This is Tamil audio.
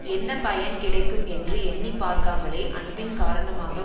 என்ன பயன் கிடைக்கும் என்று எண்ணி பார்க்காமலே அன்பின் காரணமாக